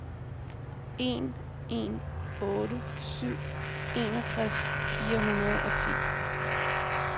en en otte syv enogtres fire hundrede og ti